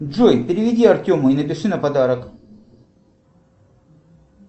джой переведи артему и напиши на подарок